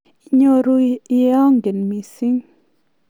Inyooru iyangeii mising'.